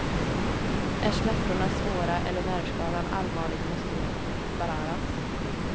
Är smärtorna svåra eller nervskadan allvarlig måste det operaras.